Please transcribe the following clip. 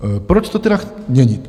Proč to tedy měnit?